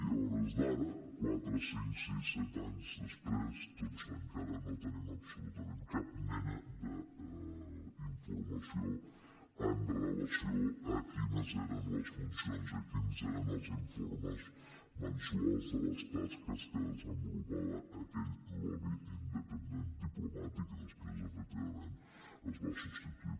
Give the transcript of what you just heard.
i a hores d’ara quatre cinc sis set anys després doncs encara no tenim absolutament cap mena d’informació amb relació a quines eren les funcions i quins eren els informes mensuals de les tasques que desenvolupava aquell lobby independent diplomat que després efectivament es va substituir